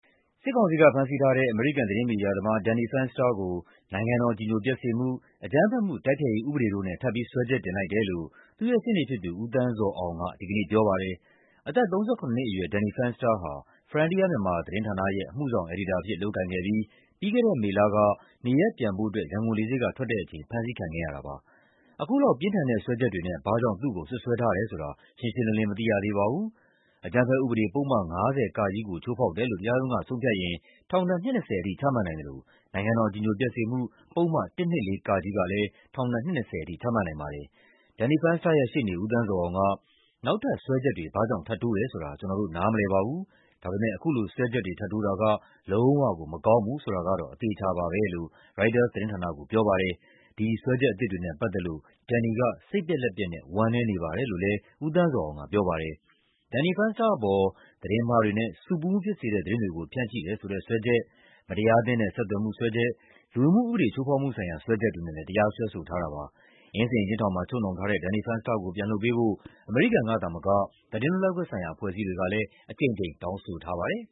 စစ်ကောင်စီက ဖမ်းဆီးထားတဲ့ အမေရိကန် သတင်းမီဒီယာသမား Danny Fenster ကို နိုင်ငံတော်အကြည်ညိုပျက်စေမှု၊ အကြမ်းဖက်မှု တိုက်ဖျက်ရေး ဥပဒေတို့နဲ့ ထပ်ပြီး စွဲချက်တင်လိုက်တယ်လို့ သူ့ရဲ့ရှေ့နေဖြစ်သူ ဦးသန်းဇော်အောင်က ဒီကနေ့ ပြောပါတယ်။ အသက် ၃၇ နှစ်အရွယ် Danny Fenster ဟာ Frontier Myanmar သတင်းဌာနရဲ့ အမှုဆောင်အယ်ဒီတာအဖြစ် လုပ်ကိုင်ခဲ့ပြီး ပြီးခဲ့တဲ့မေလက နေရပ်ပြန်ဖို့ ရန်ကုန်လေဆိပ်က ထွက်တဲ့အချိန် ဖမ်းဆီးခံခဲ့ရတာပါ။ အခုလောက် ပြင်းထန်တဲ့စွဲချက်နဲ့ ဘာ့ကြောင့် သူ့ကိုစွပ်စွဲထားတယ်ဆိုတာ ရှင်းရှင်းလင်းလင်း မသိရသေးပါဘူး။ အကြမ်းဖက်ဥပဒေ ပုဒ်မ ၅၀ (က) ကို ချိုးဖောက်တယ်လို့ တရားရုံးက ဆုံးဖြတ်ရင် ထောင်ဒဏ် နှစ် ၂၀ ထိ ချမှတ်နိုင်သလို နိုင်ငံတော်အကြည်ညိုပျက်စေမှု ပုဒ်မ ၁၂၄ (က) ကလည်း ထောင်ဒဏ် နှစ် ၂၀ ထိ ချမှတ်နိုင်ပါတယ်။ Danny Fenster ရဲ့ရှေ့နေ ဦးသန်းဇော်အောင်က "နောက်ထပ်စွဲချက်တွေ ဘာ့ကြောင့် ထပ်တိုးတယ်ဆိုတာ ကျနော်တို့ နားမလည်ပါဘူး။ ဒါပေမယ့် အခုလို စွဲချက်တွေ ထပ်တိုးတာက လုံးဝကို မကောင်းဘူးဆိုတာကတော့ အသေအချာပါပဲ" လို့ ရိုက်တာသတင်းဌာနကို ပြောပါတယ်။ "ဒီစွဲချက်အသစ်တွေနဲ့ ပတ်သက်လို့ Danny က စိတ်ပျက်လက်ပျက်နဲ့ ဝမ်းနည်းနေပါတယ်" လို့လည်း ဦးသန်းဇော်အောင်က ပြောပါတယ်။ Danny Fenster အပေါ် သတင်းမှားတွေနဲ့ ဆူပူမှုဖြစ်စေတဲ့ သတင်းတွေကို ဖြန့်ချိတယ်ဆိုတဲ့ စွဲချက်၊ မတရားအသင်းနဲ့ ဆက်သွယ်မှု စွဲချက်၊ လူဝင်မှုဥပဒေ ချိုးဖောက်မှုဆိုင်ရာ စွဲချက်တွေနဲ့လည်း တရားစွဲဆိုထားပါတယ်။ အင်းစိန်အကျဉ်းထောင်မှာ ချုပ်နှောင်ထားတဲ့ Danny Fenster ကို ပြန်လွှတ်ပေးဖို့ အမေရိကန်ကသာမက သတင်းလွတ်လပ်ခွင့်ဆိုင်ရာ အဖွဲ့အစည်းတွေကလည်း အကြိမ်ကြိမ် တောင်းဆိုထားပါတယ်